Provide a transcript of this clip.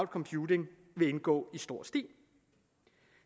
computing vil indgå i stor stil